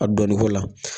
A dɔɔnin ko la